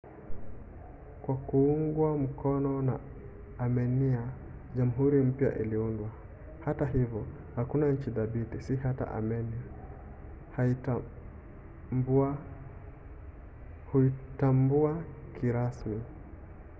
kwa kuungwa mkono na armenia jamhuri mpya iliundwa. hata hivyo hakuna nchi thabiti - si hata armenia - huitambua kirasmi